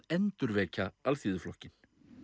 endurvekja Alþýðuflokkinn